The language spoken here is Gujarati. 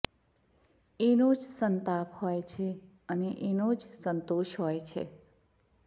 એનો જ સંતાપ હોય છે અને એનો જ સંતોષ હોય છે